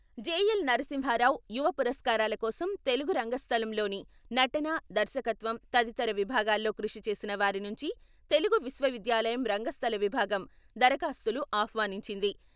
JL Narasimharao యువ పురస్కారాల కోసం తెలుగు రంగ స్థలంలోని నటన, దర్శకత్వం తదితర విభాగాలో కృషి చేసిన వారి నుంచి తెలుగు విశ్వవిద్యాలయం రంగస్థల విభాగం దరఖాస్తులు ఆహ్వానించింది.